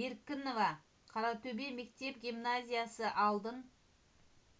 беркінова қаратөбе мектеп-гимназиясы алдын